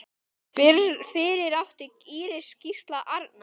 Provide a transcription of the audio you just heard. Fyrir átti Íris Gísla Arnar.